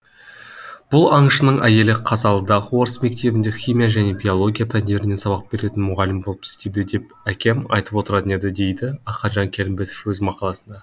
бұл аңшының әйелі қазалыдағы орыс мектебінде химия және биология пәндерінен сабақ беретін мұғалім болып істейді деп әкем айтып отыратын еді дейді ақанжан келімбетов өз мақаласында